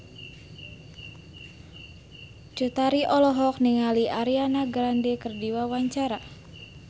Cut Tari olohok ningali Ariana Grande keur diwawancara